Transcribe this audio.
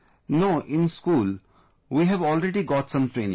No, in school we have already got some training